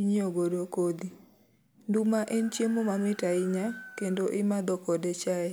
inyiewo godo kodhi. Nduma en chiemo mamit ahinya, kendo imadho kode chai.